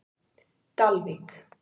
Dalvík